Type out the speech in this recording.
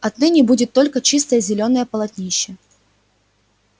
отныне будет только чистое зелёное полотнище